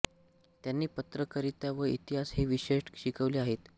त्यांनी पत्रकारिता व इतिहास हे विषय शिकवले आहेत